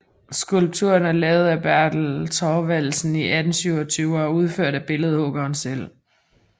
Skulpturen er lavet af Bertel Thorvaldsen i 1827 og er udført af billedhuggeren selv